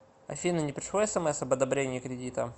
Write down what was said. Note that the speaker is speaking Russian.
афина не пришло смс об одобрении кредита